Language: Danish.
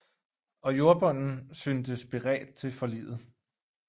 Og jordbunden syntes beredt til forliget